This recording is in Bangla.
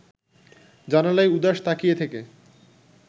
জানালায় উদাস তাকিয়ে থেকে